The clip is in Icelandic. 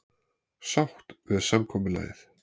Sátt við samkomulagið